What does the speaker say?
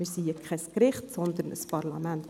Wir sind kein Gericht, sondern ein Parlament.